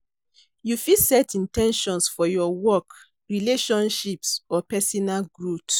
You fit set in ten tions for your work, relationships, or pesinal growth.